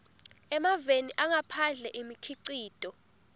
emaveni angaphandle imikhicito